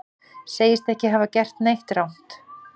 Segist ekki hafa gert neitt rangt